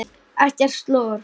Ekkert slor!